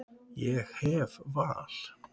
Ég hef val.